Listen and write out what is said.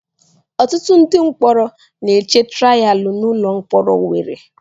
Ọtụtụ ndị mkpọrọ na-eche trayaalụ n'ụlọ mkpọrọ Owerre.